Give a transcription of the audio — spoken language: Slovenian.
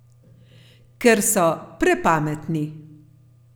Ker so prepametni.